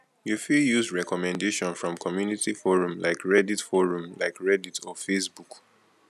you fit use recommendation from community forum like reddit forum like reddit or facebook